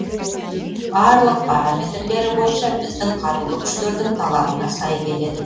барлық параметрлері бойынша біздің қарулы күштердің талабына сай келеді